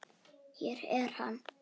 Hér er hann.